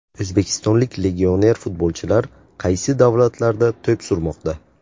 O‘zbekistonlik legioner futbolchilar qaysi davlatlarda to‘p surmoqda?